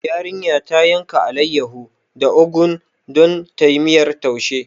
Yarinya ta yanka alaiyahu da ogu don tayi miyar taushi